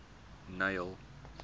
neil